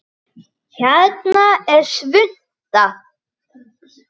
Hérna er svunta